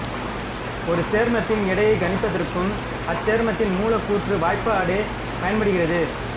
ஒரு சேர்மத்தின் எடையை கணிப்பதற்கும் அச்சேர்மத்தின் மூலக்கூற்று வாய்பாடே பயன்படுகிறது